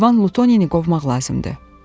İvan Lutoni qovmaq lazımdır.